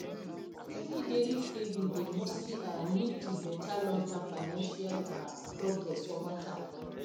steady daily saving dey mostly um lead to better longterm financial um progress over time